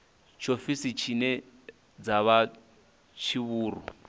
tshiofisi dzine dza vha tshivhuru